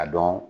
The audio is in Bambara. A dɔn